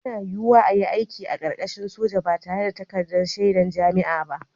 Yana yiwuwa a yi aiki a ƙarƙashin soja ba tare da takardar shaidar jami'a ba